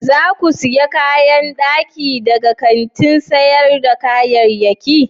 Za ku sayi kayan daki daga kantin sayar da kayayyaki?